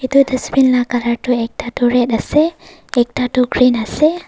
etu dustbin lah colour tu ekta tu red ase ekta tu green ase.